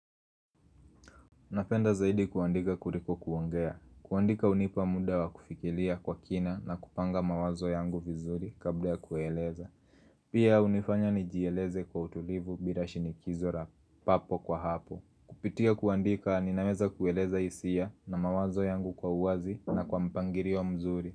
Napenda zaidi kuandika kuliko kuongea. Kuandika hunipa muda wa kufikilia kwa kina na kupanga mawazo yangu vizuri kabla kueleza. Pia unifanya nijieleze kwa utulivu bila shinikizo lapapo kwa hapo. Kupitia kuandika ninaweza kueleza hisia na mawazo yangu kwa uwazi na kwa mpangilio mzuri.